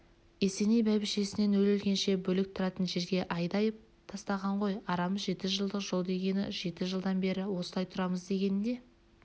есеней бәйбішесін өле-өлгенше бөлек тұратын жерге айдап тастаған ғой арамыз жеті жылдық жол дегені жеті жылдан бері осылай тұрамыз дегені де